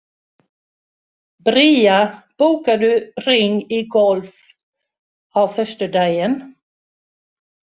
Bría, bókaðu hring í golf á föstudaginn.